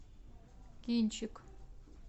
кинчик